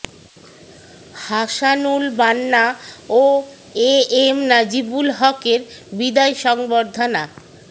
হাসানুল বান্না ও A M Najibul হকের বিদায় সংবর্ধনা